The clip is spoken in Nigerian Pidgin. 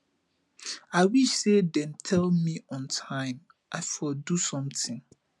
i wish say dem tell me on time i for do something